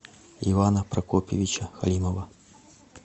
ивана прокопьевича халимова